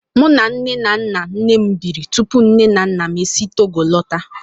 Mụ na nne na nna nnem biri tupu nne na nna m e si Togo lọta.